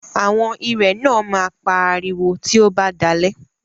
Àwọn irẹ̀ náà máa pa ariwo tí ó bá dalẹ́.